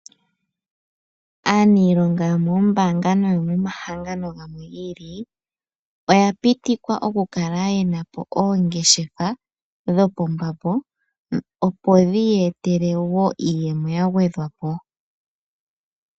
Aaniilonga yomombaanga no yomomahangano gamwe gi ili oya pitikwa okukala yena oongeshefa dhopambambo opo dhi ya etele woo iiyemo ya gwedhwapo.